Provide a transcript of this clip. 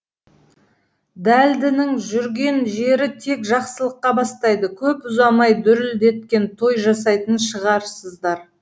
дәлдінің жүрген жері тек жақсылыққа бастайды көп ұзамай дүрілдеткен той жасайтын шығарсыздар